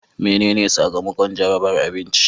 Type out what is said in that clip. Menene sakamakon jarabar abinci?